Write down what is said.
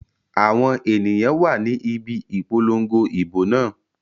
Àwọn èyàn wà ni ibi Ìpolongo ìbò náà.